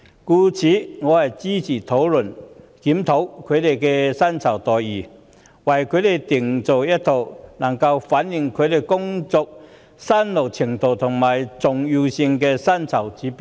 因此，我支持本會討論及檢討他們的薪酬待遇，為他們制訂一套能反映其工作辛勞程度和重要性的薪酬指標。